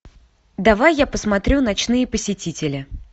давай я посмотрю ночные посетители